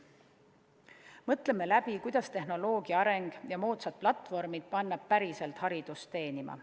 Mõtleme läbi, kuidas panna tehnoloogia areng ja moodsad platvormid päriselt haridust teenima.